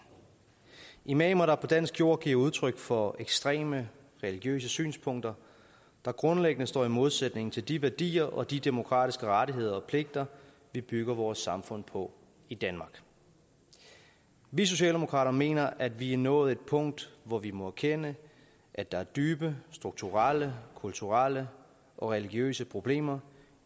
imamer der på dansk jord giver udtryk for ekstreme religiøse synspunkter der grundlæggende står i modsætning til de værdier og de demokratiske rettigheder og pligter vi bygger vores samfund på i danmark vi socialdemokrater mener at vi er nået til et punkt hvor vi må erkende at der er dybe strukturelle kulturelle og religiøse problemer